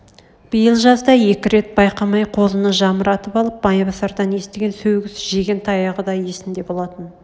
биыл жазда екі рет байқамай қозыны жамыратып алып майбасардан естіген сөгіс жеген таяғы да есінде болатын